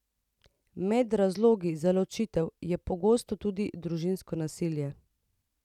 Med razlogi za ločitev je pogosto tudi družinsko nasilje.